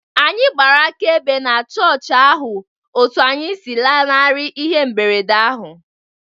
Anyị gbara akaebe na chọọchị ahụ otú anyị si lanarị ihe mberede ahụ